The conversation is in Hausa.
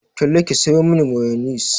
Talle ki sayo mani mayonis!